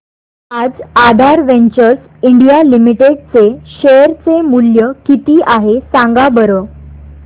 आज Aadhaar ventures India limited चे share चे मूल्य किती आहे सांगा बरं